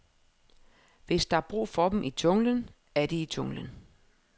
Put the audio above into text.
Hvis der er brug for dem i junglen, er de i junglen.